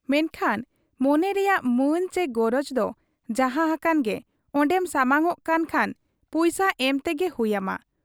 ᱢᱮᱱᱠᱷᱟᱱ ᱢᱚᱱᱮ ᱨᱮᱭᱟᱜ ᱢᱟᱹᱱ ᱪᱤ ᱜᱚᱨᱚᱡᱽ ᱫᱚ ᱡᱟᱦᱟᱸ ᱦᱟᱠᱟᱱ ᱜᱮ ᱚᱱᱰᱮᱢ ᱥᱟᱢᱟᱝᱚᱜ ᱠᱟᱱ ᱠᱷᱟᱱ ᱯᱩᱭᱥᱟᱹ ᱮᱢ ᱛᱮᱜᱮ ᱦᱩᱭ ᱟᱢᱟ ᱾